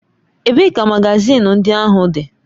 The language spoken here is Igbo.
Ebee ka magazin ndị ahụ dị?